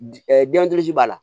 b'a la